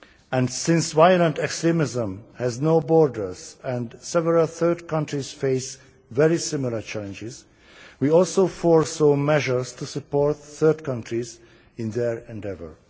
And since violent extremism has no borders and several third countries face very similar challenges, we also foresaw measures to support third countries in their endeavour.